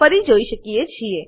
ફરી જોઈ શકીએ છીએ